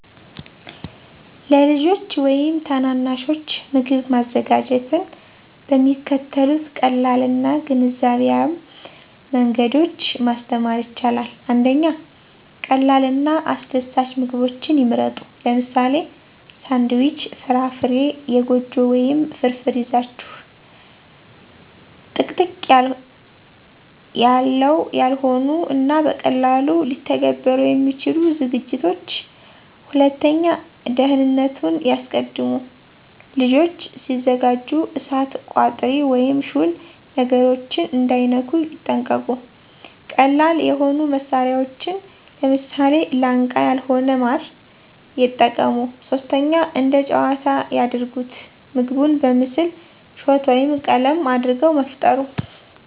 ለልጆች ወይም ታናናሾች ምግብ ማዘጋጀትን በሚከተሉት ቀላል እና ግንዛቤያም መንገዶች ማስተማር ይቻላል። 1. ቀላል እና አስደሳች ምግቦችን ይምረጡ - ለምሳሌ፦ ሳንድዊች፣ ፍራፍራ፣ የጎጆ ወይም ፍርፍር ይዛችሁ። - ጥቅጥቅ ያላው ያልሆኑ እና በቀላሉ ሊተገበሩ የሚችሉ ዝግጅቶች። **2. ደህንነቱን ያስቀድሙ** - ልጆች ሲያዘጋጁ እሳት፣ ቋጥሪ ወይም ሹል ነገሮችን እንዳይነኩ ይጠንቀቁ። - ቀላል የሆኑ መሳሪያዎችን (ለምሳሌ፦ ላንቃ ያልሆነ ማር) የጠቀሙ። *3. እንደ ጨዋታ ያድርጉት** - ምግቡን በምስል፣ ሾት ወይም ቀለም አድርጎ መፍጠሩ